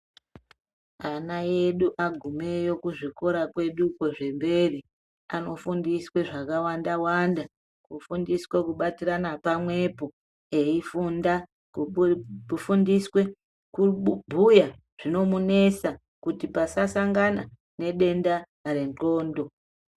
Ana edu agumeyo kuzvikora kweduko zvemberi anofundiswe zvakawanda wanda kufundiswa kubatirana pamwepo eifunda, kufundiswa kubhuya zvinomunesa kuti pasasangana nedenda rendxondo.